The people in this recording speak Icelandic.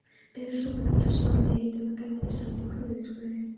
Berið súpuna fram sjóðandi heita með grænmetissalati og hvítlauksbrauði.